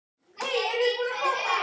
Dæmi um tækni